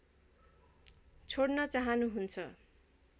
छोड्न चाहनु हुन्छ